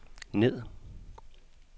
ned